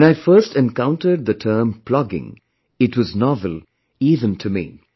When I first encountered the term Plogging, it was novel even to me